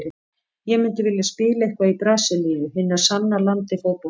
Ég myndi vilja spila eitthvað í Brasilíu, hinu sanna landi fótboltans.